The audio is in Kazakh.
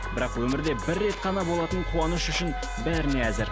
бірақ өмірде бір рет қана болатын қуаныш үшін бәріне әзір